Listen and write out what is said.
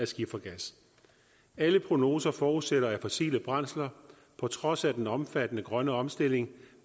skifergas alle prognoser forudsætter at fossile brændsler på trods af den omfattende grønne omstilling